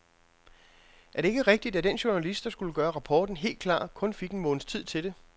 Er det ikke rigtigt, at den journalist, der skulle gøre rapporten helt klar, kun fik en måneds tid til det?